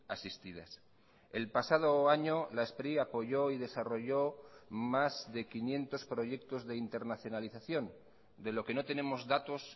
asistidas el pasado año la spri apoyó y desarrolló más de quinientos proyectos de internacionalización de lo que no tenemos datos